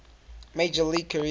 major league career